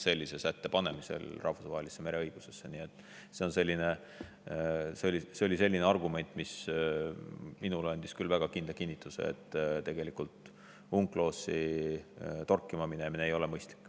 Nii et see oli selline argument, mis minule küll andis kinnituse, et UNCLOS-i torkima minna ei ole mõistlik.